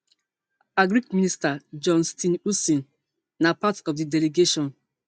agric minister john steenhuisen na part of di delegation